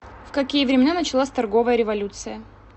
в какие времена началась торговая революция